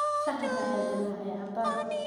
Saxanka ayaa dillaacay cabbaar.